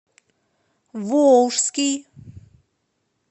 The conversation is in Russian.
волжский